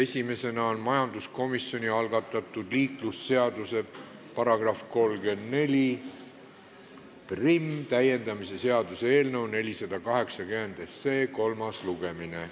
Esimesena on majanduskomisjoni algatatud liiklusseaduse § 341 täiendamise seaduse eelnõu 480 kolmas lugemine.